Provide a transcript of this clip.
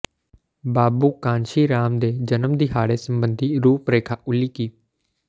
ਬਾਬੂ ਕਾਂਸ਼ੀ ਰਾਮ ਦੇ ਜਨਮ ਦਿਹਾੜੇ ਸਬੰਧੀ ਰੂਪਰੇਖਾ ਉਲੀਕੀ